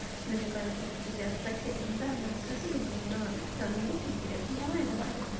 намекаю на то чтобы тебя спросили дана расскажи же но нам же очень интересно давай давай